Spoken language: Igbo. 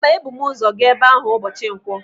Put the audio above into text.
Mba, ebu m ụzọ gaa ebe ahụ ụbọchị nkwọ.